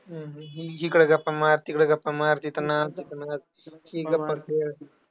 हम्म इकडं गप्पा मार तिकडं गप्पा मार, तिथं नाच इथं नाच, हे गप्पा कर